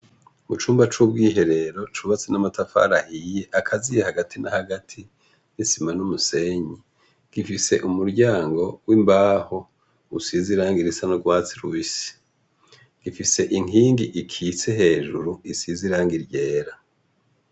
Mucumba c'ubwiherero, cubatse n'amatafari ahiye, agaziye hagati na hagati, isima n'umusenyi, gifise umuryango w'imbaho, usize irangi risa n'urwatsi rubisi. Gifise inkingi ikitse hejuru isize n'irangi ryera.